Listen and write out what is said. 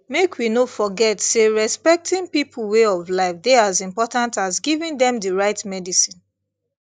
make we no forget say respecting people way of life dey as important as giving dem the right medicine